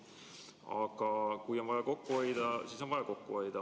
Aga kui on vaja kokku hoida, siis on vaja kokku hoida.